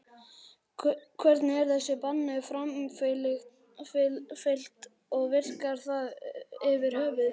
Hvernig er þessu banni framfylgt og virkar það yfir höfuð?